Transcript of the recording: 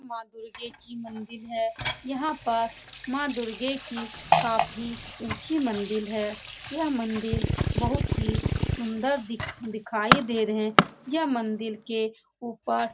माँ दुर्गे कि मंदिर है यहाँ पर माँ दुर्गे कि काफी ऊंची मंदिल है यह मंदिल बहुत ही सुन्दर दिख दिखाई दे रहे हैं यह मंदिल के ऊपर --